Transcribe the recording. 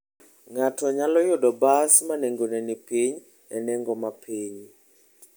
Ng'ato nyalo yudo bas ma nengone ni piny e nengo ma piny.